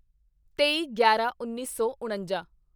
ਤੇਈਗਿਆਰਾਂਉੱਨੀ ਸੌ ਉਣੰਜਾ